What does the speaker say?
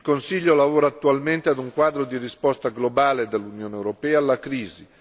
Il Consiglio lavora attualmente ad un quadro di risposta globale dell'Unione europea alla crisi.